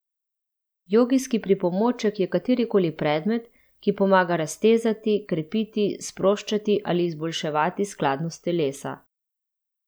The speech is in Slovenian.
Jogijski pripomoček je katerikoli predmet, ki pomaga raztezati, krepiti, sproščati ali izboljševati skladnost telesa.